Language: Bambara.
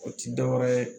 O ti dɔwɛrɛ ye